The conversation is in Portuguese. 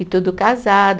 E tudo casada.